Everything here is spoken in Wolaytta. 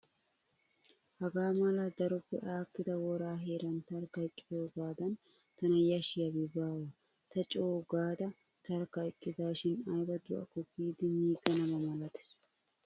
Hagaa malaa daroppe aakkida woraa heeran tarkka eqqiyoogaadan tana yashshiyaabi baawa. Ta co'u gaada tarkka eqqidaashin ayiba do'akko kiyidi miiganaba malates.